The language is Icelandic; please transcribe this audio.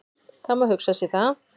Það má hugsa sér það.